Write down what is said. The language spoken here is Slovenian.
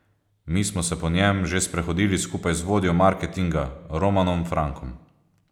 Mi smo se po njem že sprehodili skupaj z vodjo marketinga Romanom Frankom.